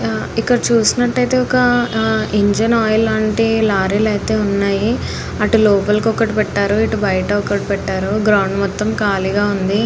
ఇక్కడ చూసినటైతే ఒక ఇంజిన్ ఆయిల్ లాంటి లారీ లు ఐతే ఉన్నాయ్ అటు లోపల ఒకటి పెట్టారు ఇటు బయట ఒకటి పెట్టారు గ్రౌండ్ మొత్తం కాలిగ ఉంది.